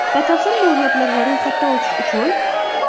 Batafsil ma’lumotlar va ro‘yxatdan o‘tish uchun: .